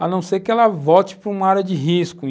a não ser que ela volte para uma área de risco.